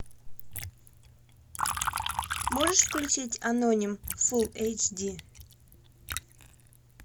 можешь включить аноним фул эйч ди